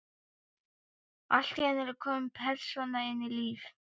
Allt í einu er komin persóna inn í líf